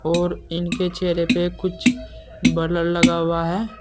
और इनके चेहरे पर कुछ बलर लगा हुआ है।